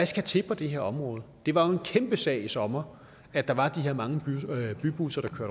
skal til på det her område det var jo en kæmpe sag i sommer at der var de her mange bybusser der